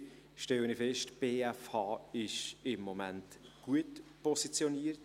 Ich stelle fest: Die BFH ist im Moment gut positioniert.